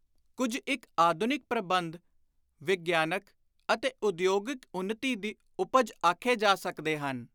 ਕੁਝ ਇਕ ਆਧੁਨਿਕ ਪ੍ਰਬੰਧ ਵਿਗਿਆਨਕ ਅਤੇ ਉਦਯੋਗਿਕ ਉੱਨਤੀ ਦੀ ਉਪਜ ਆਖੇ ਜਾ ਸਕਦੇ ਹਨ